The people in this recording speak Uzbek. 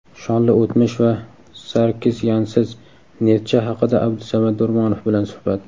Shonli o‘tmish va Sarkisyansiz "Neftchi" haqida Abdusamad Do‘rmonov bilan suhbat.